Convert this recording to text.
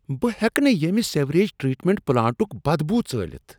بہٕ ہیٚکہٕ نہٕ ییمہ سیوریج ٹریٹمنٹ پلانٹٕٗك بدبو ژٲلِتھ ۔